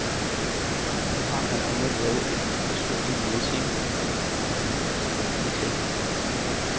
Hun har blandt andet lavet et et forsølvet messingornament, som er lige til at hænge op.